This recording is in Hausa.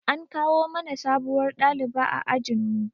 An kawo mana sabuwar ɗaliba ajin mu